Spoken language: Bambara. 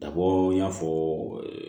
Ka bɔ n y'a fɔ